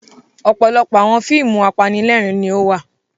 Ọ̀pọ̀lọpọ̀ àwọn fíìmù apanílẹ̀rín ni ó wà.